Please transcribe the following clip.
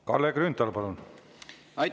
Kalle Grünthal, palun!